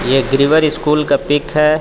ये ग्रीवर स्कूल का पिक है.